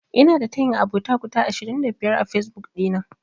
Ina da tayin abota guda ashirin da biyar a Fesbuk ɗina.